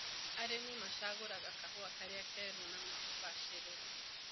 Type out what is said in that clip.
Arĩmi macagũraga kahũa karĩa keru na ũbaciriru.